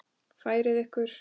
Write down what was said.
Færið ykkur!